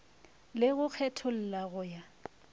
le go kgetholla go ya